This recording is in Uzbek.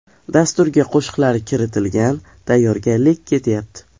Dasturga qo‘shiqlari kiritilgan, tayyorgarlik ketyapti.